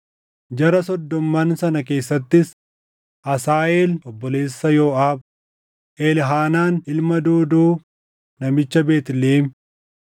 Jara soddomman sana keessattis: Asaaheel obboleessa Yooʼaab, Elhaanaan ilma Doodoo namicha Beetlihem,